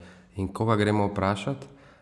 In koga gremo vprašat?